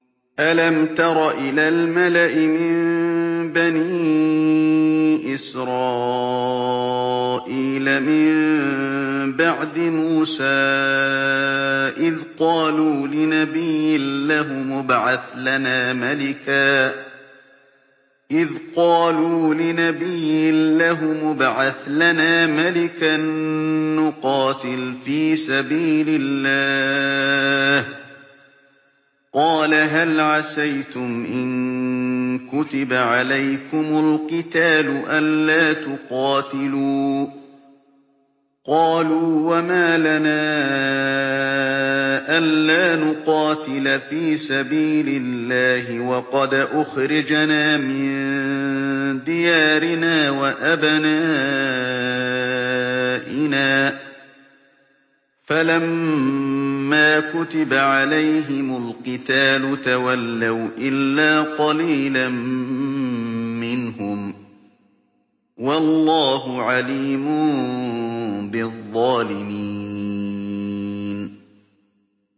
أَلَمْ تَرَ إِلَى الْمَلَإِ مِن بَنِي إِسْرَائِيلَ مِن بَعْدِ مُوسَىٰ إِذْ قَالُوا لِنَبِيٍّ لَّهُمُ ابْعَثْ لَنَا مَلِكًا نُّقَاتِلْ فِي سَبِيلِ اللَّهِ ۖ قَالَ هَلْ عَسَيْتُمْ إِن كُتِبَ عَلَيْكُمُ الْقِتَالُ أَلَّا تُقَاتِلُوا ۖ قَالُوا وَمَا لَنَا أَلَّا نُقَاتِلَ فِي سَبِيلِ اللَّهِ وَقَدْ أُخْرِجْنَا مِن دِيَارِنَا وَأَبْنَائِنَا ۖ فَلَمَّا كُتِبَ عَلَيْهِمُ الْقِتَالُ تَوَلَّوْا إِلَّا قَلِيلًا مِّنْهُمْ ۗ وَاللَّهُ عَلِيمٌ بِالظَّالِمِينَ